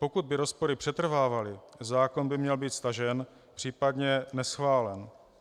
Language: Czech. Pokud by rozpory přetrvávaly, zákon by měl být stažen, případně neschválen.